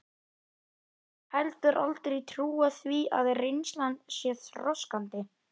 Hef heldur aldrei trúað því að reynslan sé þroskandi.